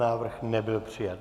Návrh nebyl přijat.